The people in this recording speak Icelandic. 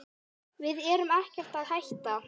Við erum ekkert að hætta.